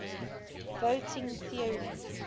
voting theory